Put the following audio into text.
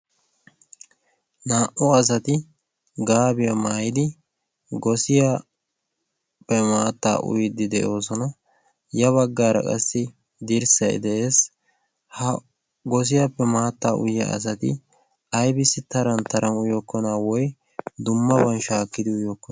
naa77u asati gaabiyaa maayidi gosiyaappe maattaa uyiddi de7oosona. ya baggaara qassi dirssai de7ees. ha gosiyaappe maatta uyiya asati aibissi taran taran uyokkona woi dummaban shaakkidi uyyookkona?